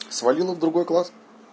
свалила в другой класс